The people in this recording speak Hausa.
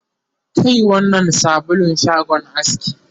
Kai wannnan sabulun shagon aski